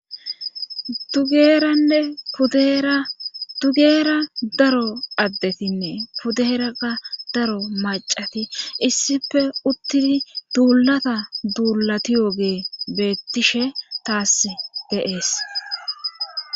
dugeeranne kudera dugeera daro addetinne kudeeraa daro macati issife uttini duulata duulatiyoogee beettishe taas geees